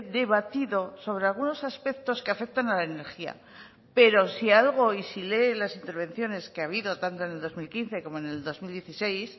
debatido sobre algunos aspectos que afectan a la energía pero si algo y si lee las intervenciones que ha habido tanto en el dos mil quince como en el dos mil dieciséis